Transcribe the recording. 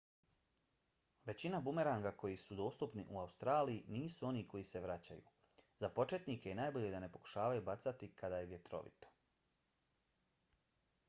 većina bumeranga koji su dostupni u australiju nisu oni koji se vraćaju. za početnike je najbolje da ne pokušavaju bacati kada je vjetrovito